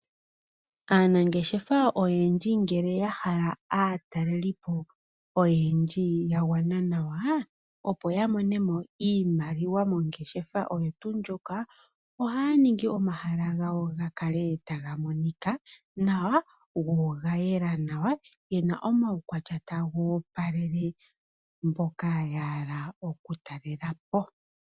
Aanangeshefa oyendji ngele yahala aatalelipo oyendji ya gwana nawa opoya yamonemo iimaliwa mongeshefa oyo tu ndjoka, ohaya ningi omahala gawo gakale taga monika nawa go oga yela nawa gena omaukwatya taga opalele mboka yahala oku talelapo.